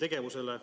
tegevusele.